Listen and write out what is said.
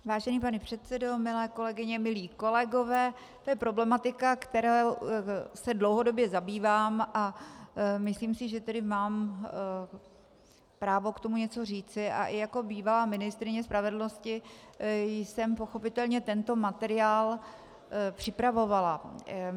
Vážený pane předsedo, milé kolegyně, milí kolegové, to je problematika, kterou se dlouhodobě zabývám, a myslím si tedy, že mám právo k tomu něco říci, a i jako bývalá ministryně spravedlnosti jsem pochopitelně tento materiál připravovala.